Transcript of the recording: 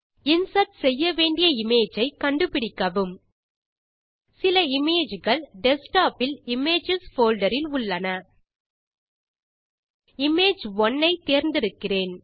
insert செய்ய வேண்டிய image ஐ கண்டுபிடிக்கவும் சில இமேஜ் கள் டெஸ்க்டாப் இல் இமேஜஸ் போல்டர் இல் உள்ளன இமேஜ்1 ஐ தேர்ந்தெடுக்கிறேன்